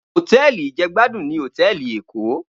Hótèlí ijègbádún ni hótèlí Ékó